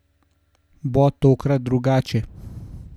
Bo tokrat drugače?